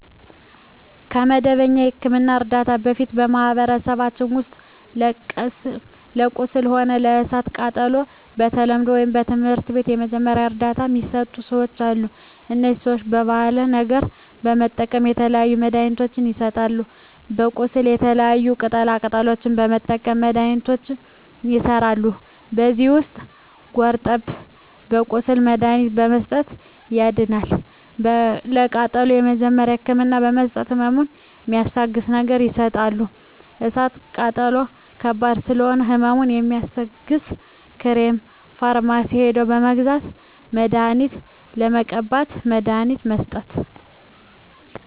ከመደበኛ የሕክምና ዕርዳታ በፊት በማኀበረሰባችን ውስጥ ለቁስል ሆነ ለእሳት ቃጠሎው በተለምዶው ወይም በትምህርት የመጀመሪያ እርዳታ ሚሰጡ ሰዎች አሉ እነዚህ ሰዎች ባሀላዊ ነገሮች በመጠቀም የተለያዩ መድሀኒትችን ይሰጣሉ ለቁስል የተለያዩ ቅጠላ ቅጠሎችን በመጠቀም መድሀኒቶች ይሠራሉ ከዚህ ውስጥ ጉርጠብን ለቁስል መድሀኒትነት በመስጠት ያድናል ለቃጠሎ የመጀመሪያ ህክምና በመስጠት ህመሙን ሚስታግስ ነገር ይሰጣሉ እሳት ቃጠሎ ከባድ ስለሆነ ህመሙ የሚያስታግስ ክሬም ፈርማሲ ሄደው በመግዛት መድሀኒት መቀባት መድሀኒት መስጠት